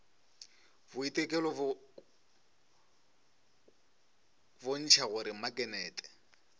boitekelo go bontšha gore maknete